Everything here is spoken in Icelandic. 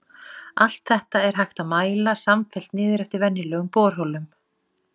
Allt þetta er hægt að mæla samfellt niður eftir venjulegum borholum.